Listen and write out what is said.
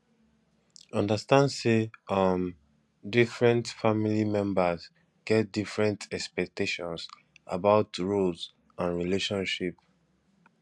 understand sey um different family members get different expectations about roles and relationship